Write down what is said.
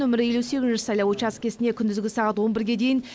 нөмірі елу сегізінші сайлау учаскесіне күндізгі сағат он бірге дейін